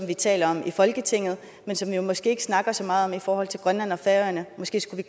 vi taler om i folketinget men som vi måske ikke snakker så meget om i forhold til grønland og færøerne måske skulle